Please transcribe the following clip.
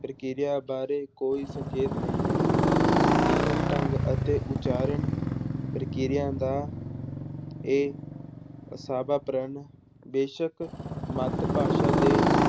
ਪ੍ਰਕਿਰਿਆ ਬਾਰੇ ਕੋਈ ਸੰਖੇਪ ਨਹੀਂ ਮਿਲਦਾ, ਲਿਖਣ ਢੰਗ ਅਤੇ ਉਚਾਰਨ ਪ੍ਰਕਿਰਿਆ ਦਾ ਇਹ ਅਸਾਵਾ ਪ੍ਰਣ ਬੇਸ਼ਕ ਮੱਤ ਭਾਸ਼ਾ ਦੇ